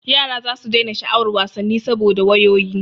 Yara zasu daina sha'awar wasanni saboda wayoyi.